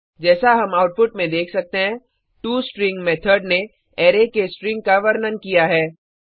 जैसा हम आउटपुट में देख सकते हैं टोस्ट्रिंग मेथड ने अराय के स्ट्रिंग का वर्णन किया है